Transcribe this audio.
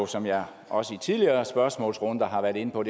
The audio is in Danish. som jeg også i tidligere spørgsmålsrunder har været inde på